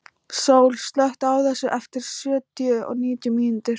Sól, slökktu á þessu eftir sjötíu og níu mínútur.